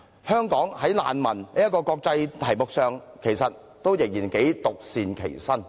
香港在難民這個國際議題上，其實仍然頗為獨善其身。